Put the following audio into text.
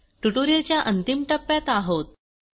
ट्युटोरियलच्या अंतिम टप्प्यात आहोत